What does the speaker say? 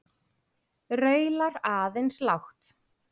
Raular aðeins lágt.